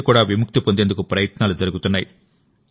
నుండి కూడా విముక్తి పొందేందుకు ప్రయత్నాలు జరుగుతున్నాయి